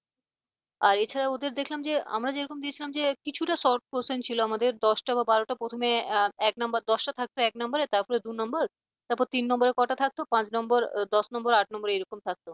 আর এছাড়া ওদের দেখলাম যে আমরা যেরকম দিয়েছিলাম যে কিছুটা short question ছিল আমাদের দশ টা বা বারোটা প্রথমে এক number দশটা থাকত এক number রের তারপর দুই number তারপর তিন number কটা থাকতো পাঁচ number দশ number আট number এরকম থাকতো